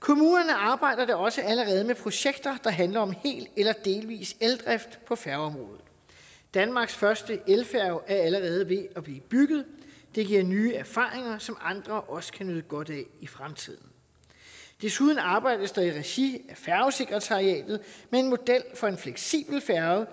kommunerne arbejder da også allerede med projekter der handler om hel eller delvis eldrift på færgeområdet danmarks første elfærge er allerede ved at blive bygget det giver nye erfaringer som andre også kan nyde godt af i fremtiden desuden arbejdes der i regi af færgesekretariatet med en model for en fleksibel færge